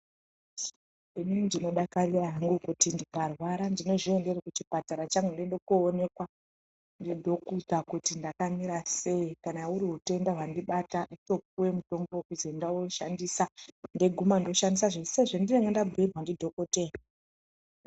Inini ndinodakarira hangu kuti ndikarwara ndinozviendere kuchipatara kwangu ndoende koonekwa ndidhokuta kuti ndakamira sei. Kana huri hutenda hwandibata ndotopuwe mutombo kuzi enda woshandisa. Ndeiguma ndoshandisa sezvendinenge ndabhuyirwa ndidhokoteya.